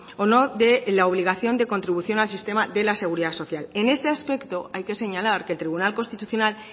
o no de la obligación de contribución al sistema de la seguridad social en este aspecto hay que señalar que el tribunal constitucional